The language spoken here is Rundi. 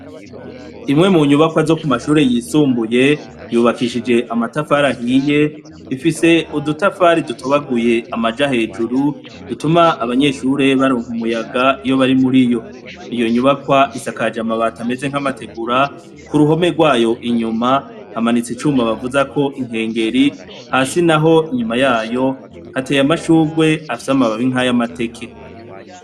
Imwe mu nyubakwa zo k' umashure y'isumbuye yubakishij' amatafar' ahiy' ifis' udutafari dutobaguy' amaja hejuru dutum' abanyeshure baronk' umuyaga iyobari muriyo , iyi nyubakw' isakajw' amabat'ameze nk' amatigura. Kuruhome rwah' inyuma hamanitsek' icuma bavuza k' inkengeri, hasi nah' inyuma yayo hatey' amashurw' afis' amababi nkay' amateke.